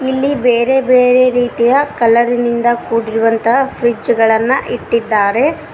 ಇಲ್ಲಿ ಬೇರೆ ಬೇರೆ ರೀತಿಯ ಕಲರ್ ನಿಂದ ಕೂಡಿರುವಂತಹ ಫ್ರಿಡ್ಜ್ ಗಳನ್ನ ಇಟ್ಟಿದ್ದಾರೆ.